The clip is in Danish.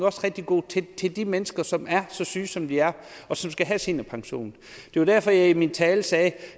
også rigtig god til de mennesker som er så syge som de er og som skal have seniorpension det var derfor jeg i min tale sagde